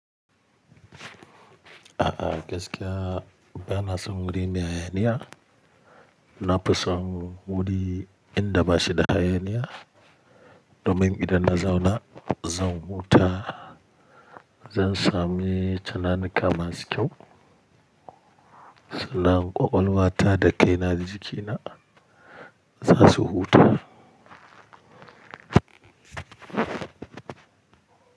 A'a gaskiya ba na son wuri mai hayaniya. Na fi son wuri inda ba shi da hayaniya domin idan na zauna zan huta. Zan sami tunanika masu kyau. Sannan ƙwaƙwalwata da kaina jikina za su huta.